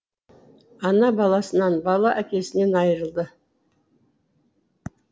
ана баласынан бала әкесінен айырылды